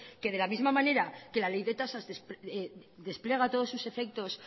que de la misma manera que la ley de tasas despliega todos sus efectos